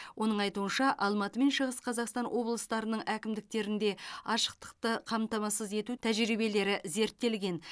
оның айтуынша алматы мен шығыс қазақстан облыстарының әкімдіктерінде ашықтықты қамтамасыз ету тәжірибелері зерттелген